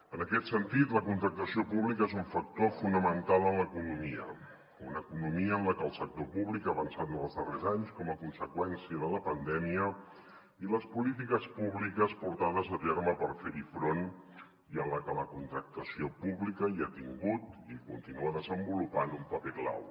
en aquest sentit la contractació pública és un factor fonamental en l’economia una economia en la que el sector públic ha avançat en els darrers anys com a conseqüència de la pandèmia i les polítiques públiques portades a terme per fer hi front i en la que la contractació pública hi ha tingut i hi continua desenvolupant un paper clau